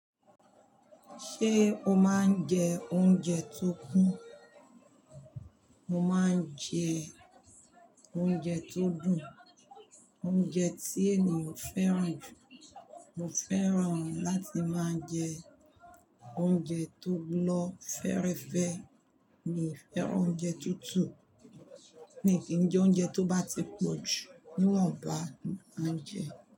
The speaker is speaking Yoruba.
Ṣé o máa ń jẹ oúnjẹ tó kún? Mo máa ń jẹ oúnjẹ tó dùn, oúnjẹ tí ènìyàn fẹ́ràn jù. Mo fẹ́ràn láti máa jẹ oúnjẹ tó lọ fẹ́ẹ́rẹ́fẹ́, mi n fẹ́ràn oúnjẹ tútù, mii kí ń jẹ oúnjẹ tó bá ti pọ̀ jù, níwọ̀n bá ni mo máa n jẹ.